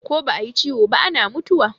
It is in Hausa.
Ko ba a yi ciwo ba ana mutuwa.